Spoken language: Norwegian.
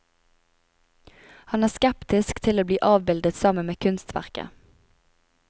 Han er skeptisk til å bli avbildet sammen med kunstverket.